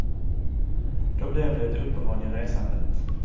Då blev det ett uppehåll i resandet.